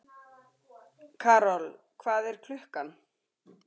Karol, hvað er klukkan?